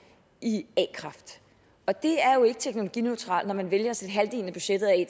i a kraft og det er jo ikke teknologineutralt når man vælger at sætte halvdelen af budgettet af